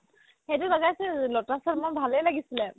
সেইটো লগাইছিলো lotus ৰ মোৰ ভালে লাগিছিলে